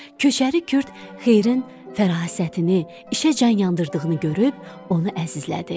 Köçəri Kürd Xeyrin fərasətini, işə can yandırdığını görüb onu əzizlədi.